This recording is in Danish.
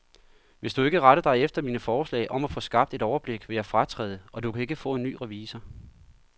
Hvis du ikke retter dig efter mine forslag om at få skabt et overblik, vil jeg fratræde, og du kan ikke få en ny revisor.